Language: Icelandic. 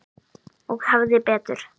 Og hafði betur.